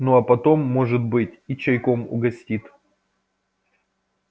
ну а потом может быть и чайком угостит